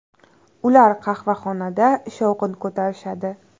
Ular qahvaxonada shovqin ko‘tarishadi.